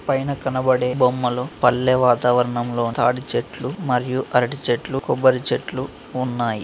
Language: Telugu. పైన కనబడే బొమ్మలు పల్లె వాతావరణంలో తాటిచెట్లు మరియు అరటి చెట్లు కొబ్బరి చెట్లు ఉన్నాయి.